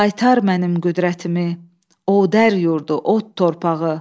Qaytar mənim qüdrətimi, o dər yurdu, o od torpağı.